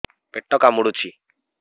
ପେଟ କାମୁଡୁଛି